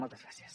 moltes gràcies